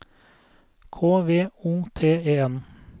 K V O T E N